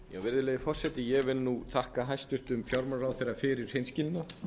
virðulegi forseti ég vil þakka hæstvirtum fjármálaráðherra fyrir hreinskilni